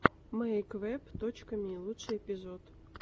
мэйквэб точка ми лучший эпизод